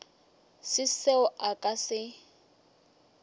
se seo a ka se